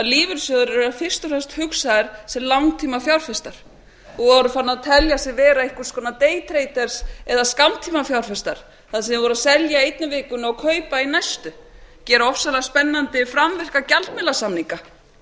lífeyrissjóðir eru fyrst og fremst hugsaðir sem langtímafjárfestar og voru farnir að telja sig vera einhvers konar day traders eða skammtímafjárfesta þar sem þeir voru að selja í einni vikunni og kaupa í næstu gera ofsalega spennandi framvirka gjaldmiðlasamninga þetta